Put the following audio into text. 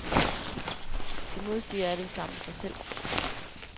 De modsiger alle sammen sig selv.